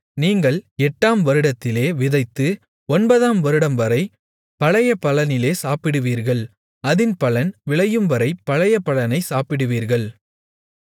நீங்கள் எட்டாம் வருடத்திலே விதைத்து ஒன்பதாம் வருடம்வரை பழைய பலனிலே சாப்பிடுவீர்கள் அதின் பலன் விளையும்வரை பழைய பலனைச் சாப்பிடுவீர்கள்